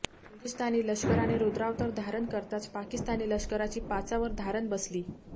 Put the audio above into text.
हिंदुस्थानी लष्कराने रुद्रावतार धारण करताच पाकिस्तानी लष्कराची पाचावर धारण बसली